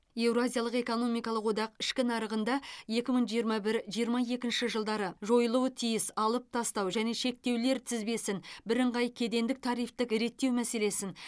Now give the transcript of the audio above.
еуразиялық экономикалық одақ ішкі нарығында екі мың жиырма бір жиырма екінші жылдары жойылуы тиіс алып тастау және шектеулер тізбесін бірыңғай кедендік тарифтік реттеу мәселесін